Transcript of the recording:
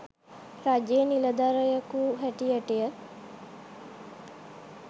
රජයේ නිලධරයකු හැටියට